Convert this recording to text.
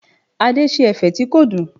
Adé ṣe ẹ̀fẹ̀ tí kò dùn.